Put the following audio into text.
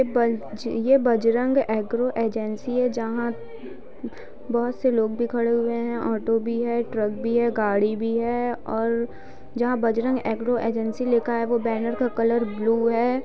यह बज यह बजरंग एग्रो एजेंसी है जहां बहुत से लोग भी खड़े हुए हैं ऑटो भी है ट्रक भी है गाड़ी भी है और जहां बजरंग एग्रो एजेंसी लिखा है वो बैनर का कलर ब्लू है।